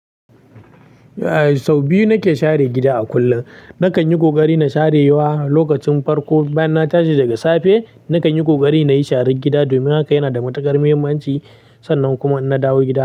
Sau biyu nake share gida a kullum. Nakan yi ƙoƙari na share wa lokacin farko bayan na tashi daga safe. Nakan yi ƙoƙari na yi share gida domin haka yana da matuƙar mahimmanci. Sannan kuma in na dawo gida.